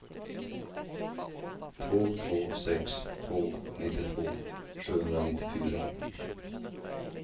två två sex två nittiotvå sjuhundranittiofyra